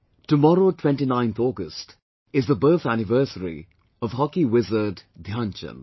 Tomorrow, 29th August is the birth anniversary of hockey wizard Dhyan Chand